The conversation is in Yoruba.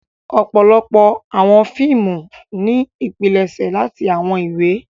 Ọpọlọpọ awọn fiimu ni ipilẹṣẹ lati awọn iwe.